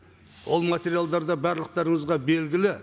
ол материалдар да барлықтарыңызға белгілі